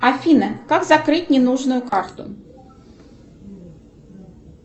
афина как закрыть ненужную карту